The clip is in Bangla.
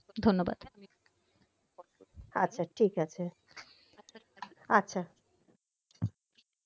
ধন্যবাদ আচ্ছা ঠিক আছে আচ্ছা